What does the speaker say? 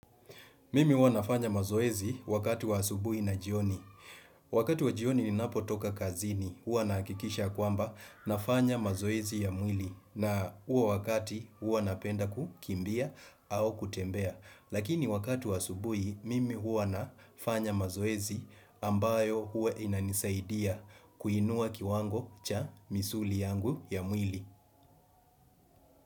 Mimi huwa nafanya mazoezi wakati wa asubui na jioni. Wakati wa jioni ninapo toka kazini, huwa nahakikisha kwamba nafanya mazoezi ya mwili. Na huo wakati, huwa napenda kukimbia au kutembea. Lakini wakati wa asubui, mimi huwa nafanya mazoezi ambayo huwa inanisaidia kuinua kiwango cha misuli yangu ya mwili.